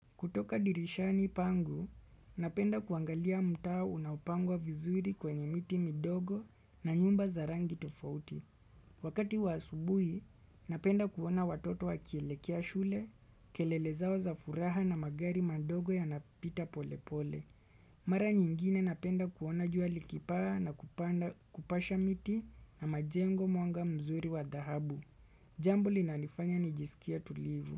Kutoka dirishani pangu, napenda kuangalia mtaa unaopangwa vizuri kwenye miti midogo na nyumba za rangi tofauti. Wakati wa asubuhi, napenda kuona watoto wakielekea shule, kelele zao za furaha na magari madogo yanapita polepole. Mara nyingine napenda kuona jua likipaa na kupasha miti na majengo mwanga mzuri wa dhahabu. Jambo linalonifanya nijisikie tulivu.